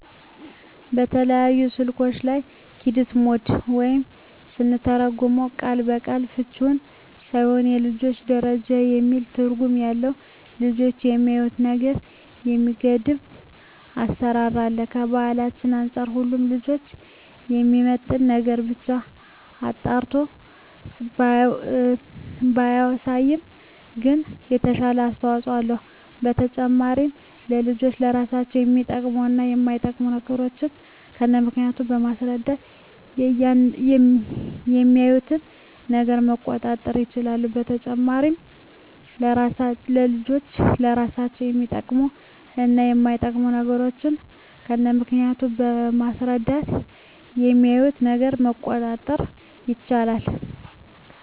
በተለያዩ ስልኮች ላይ "ኪድስ ሞድ" ወይም ስንተረጉመው ቃል በቃል ፍችውም ባይሆን የልጆች ደረጃ የሚል ትርጉም ያለው ልጆች የሚያዪትን ነገር የሚገድብ አሰራር አለ። ከባህላችን አንፃር ሁሉንም ልጆችን የሚመጥን ነገርን ብቻ አጣርቶ ባያሳይም ግን የተሻለ አስተዋጽኦ አለው። በተጨማሪም ለልጆች ለራሳቸው የሚጠቅሙ እና የማይጠቅሙ ነገሮችን ከነምክንያቱ በማስረዳት የሚያዪትን ነገር መቆጣጠር ይቻላል። በተጨማሪም ለልጆች ለራሳቸው የሚጠቅሙ እና የማይጠቅሙ ነገሮችን ከነምክንያቱ በማስረዳት የሚያዪትን ነገር መቆጣጠር ይቻላል።